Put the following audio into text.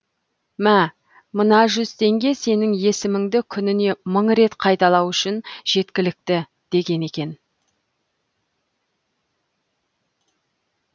мә мына жүз теңге сенің есіміңді күніне мың рет қайталау үшін жеткілікті деген екен